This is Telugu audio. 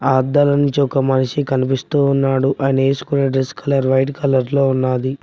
ఆ అద్దాల నుంచి ఒక మనిషి కనిపిస్తూ ఉన్నాడు అయన వేసుకొనే డ్రెస్ కలర్ వైట్ కలర్ లో ఉన్నది.